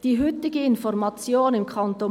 Die heutige Information im Kanton